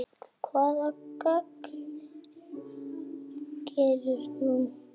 Hvaða gagn gerir þú?